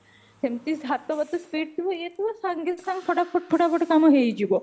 ସେମତି ହାତ ଫାତ speed ଥିବା ଇଏ ଥିବ ସାଙ୍ଗେ ସାଙ୍ଗେ ଫଟା ଫଟା କାମ ହେଇଯିବ